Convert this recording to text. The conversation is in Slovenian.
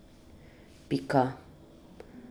Pika.